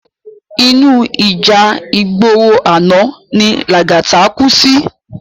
Inú íjà igbóró àná ni Lagata kú si